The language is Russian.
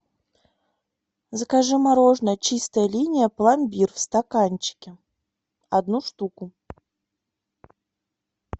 закажи мороженое чистая линия пломбир в стаканчике одну штуку